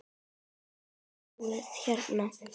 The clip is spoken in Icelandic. Og sjáið hérna!